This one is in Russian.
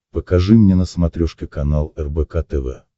покажи мне на смотрешке канал рбк тв